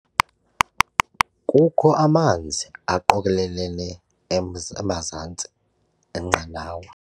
Kukho amanzi aqokelelene emza emazantsi enqanawa.